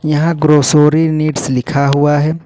यहां grocery needs लिखा हुआ है।